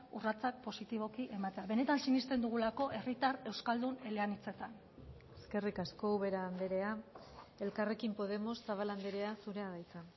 urratsak positiboki ematea benetan sinesten dugulako herritar euskaldun eleanitzetan eskerrik asko ubera andrea elkarrekin podemos zabala andrea zurea da hitza